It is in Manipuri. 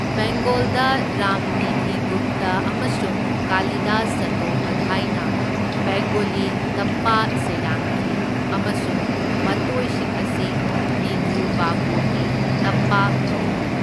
ꯕꯦꯡꯒꯣꯜꯗ ꯔꯥꯝꯅꯤꯙꯤ ꯒꯨꯞꯇ ꯑꯃꯁꯨꯡ ꯀꯥꯂꯤꯗꯥꯁ ꯆꯇꯣꯄꯥꯙꯥꯏꯅ ꯕꯦꯡꯒꯣꯂꯤ ꯇꯞꯄꯥ ꯁꯩꯔꯥꯡꯈꯤ ꯑꯃꯁꯨꯡ ꯃꯇꯣꯏꯁꯤꯡ ꯑꯁꯤ ꯅꯤꯙꯨ ꯕꯥꯕꯨꯒꯤ ꯇꯞꯄꯥ ꯀꯧꯢ꯫